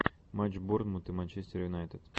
матч борнмут и манчестер юнайтед